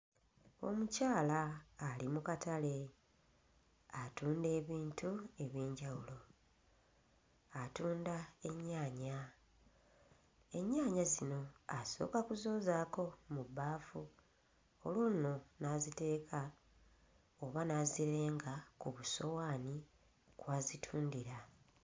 Omukyala ali mu katale atunda ebintu eby'enjawulo, atunda ennyaanya. Ennyaanya zino asooka kuzoozaako mu bbaafu olwo nno n'aziteeka oba n'azirenga ku busowaani kw'azitundira.